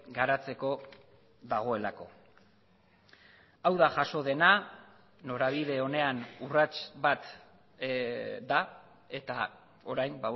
garatzeko dagoelako hau da jaso dena norabide onean urrats bat da eta orain